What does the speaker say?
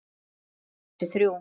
og einnig þessi þrjú